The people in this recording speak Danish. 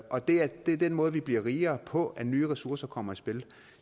og det er den måde vi bliver rigere på nemlig at nye ressourcer kommer i spil